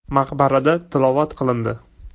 Maqbarada tilovat qilindi.